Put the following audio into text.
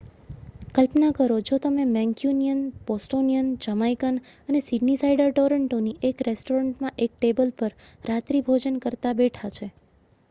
કલ્પના કરો જો તમે મેંક્યુનિયન બોસ્ટોનિયન જમાઇકન અને સિડનીસાઇડર ટોરંટોની એક રેસ્ટોરન્ટમાં એક ટેબલ પર રાત્રિભોજન કરતા બેઠાં છે